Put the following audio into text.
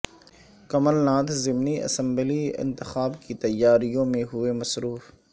کمل ناتھ ضمنی اسمبلی انتخاب کی تیاریوں میں ہوئے مصروف